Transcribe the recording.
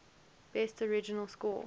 best original score